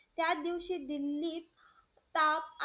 त्यादिवशी दिल्लीत ताप,